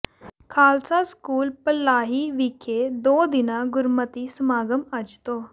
Khalsa school Palahi ਵਿਖੇ ਦੋ ਦਿਨਾ ਗੁਰਮਤਿ ਸਮਾਗਮ ਅੱਜ ਤੋਂ